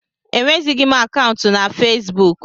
Enwezịghị m akaụntụ na Fesbuk.